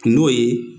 N'o ye